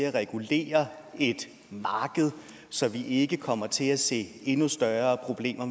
at regulere et marked så vi ikke kommer til at se endnu større problemer